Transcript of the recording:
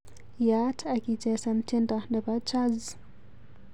Yaat akichesan tyendo nebo chazz